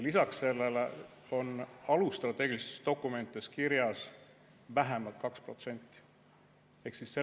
Lisaks sellele on strateegilistes alusdokumentides kirjas vähemalt 2%.